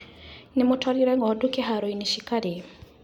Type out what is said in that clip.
Nĩmũtwarire ngondu kĩharoinĩ cikarĩe.